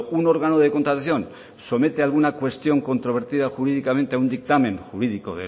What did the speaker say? un órgano de contratación somete alguna cuestión controvertida jurídicamente a un dictamen jurídico